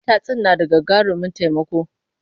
Matatsin na da gagarumin taimako.